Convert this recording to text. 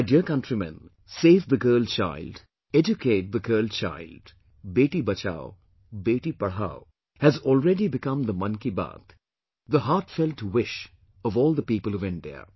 My dear Countrymen, "Save the Girl Child, Educate the Girl Child" Beti Bachao, Beti Padhao, has already become the Mann Ki Baat, the heartfelt wish of all the people of India